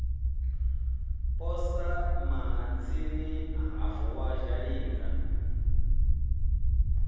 posa mahatsini ha vuwa zhalinga